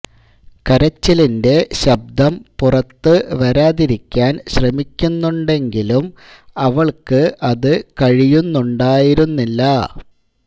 കരച്ചിലിൻ്റെ ശബ്ദം പുറത്ത് വരാതിരിക്കാൻ ശ്രമിക്കുന്നുണ്ടെങ്കിലും അവൾക്ക് അത് കഴിയുന്നുണ്ടായിരുന്നില്ല